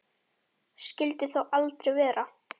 Skyldi þó aldrei vera.